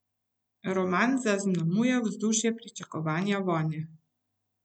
Roman zaznamuje vzdušje pričakovanja vojne.